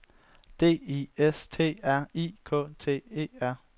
D I S T R I K T E R